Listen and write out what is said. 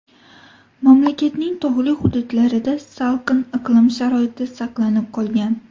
Mamlakatning tog‘li hududlarida salqin iqlim sharoiti saqlanib qolgan.